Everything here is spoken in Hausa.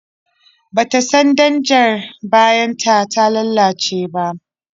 Ba ta san danjar bayanta ta lalace ba.